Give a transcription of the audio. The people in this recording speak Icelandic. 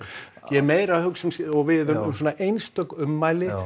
ég er meira að hugsa og við um svona einstök ummæli